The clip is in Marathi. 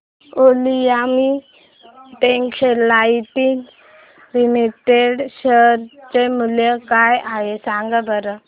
ऑलिम्पिया टेक्सटाइल्स लिमिटेड चे शेअर मूल्य काय आहे सांगा बरं